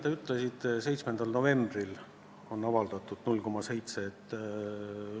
Te ütlesite, et novembri alguses prognoositi puudujääki 0,7%.